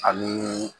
Ani